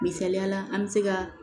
Misaliyala an bɛ se ka